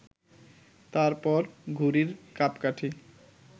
তার পর ঘুড়ির কাঁপকাঠি